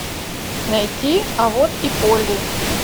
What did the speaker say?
найти а вот и полли